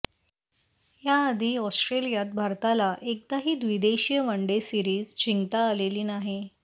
याआधी ऑस्ट्रेलियात भारताला एकदाही द्विदेशीय वनडे सीरिज जिंकता आलेली नाही